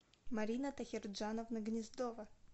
марина тахирджановна гнездова